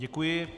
Děkuji.